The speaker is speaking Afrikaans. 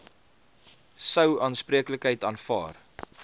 sou aanspreeklikheid aanvaar